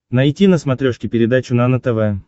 найти на смотрешке передачу нано тв